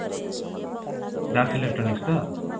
dash electronics ତ